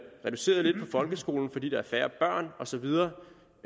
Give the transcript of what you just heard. reduceret lidt på folkeskolen fordi der er færre børn